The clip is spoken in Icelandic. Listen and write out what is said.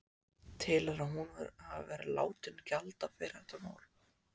Telurðu að hún hafi verið látin gjalda fyrir þetta mál?